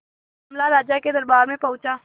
मामला राजा के दरबार में पहुंचा